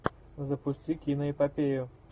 запусти киноэпопею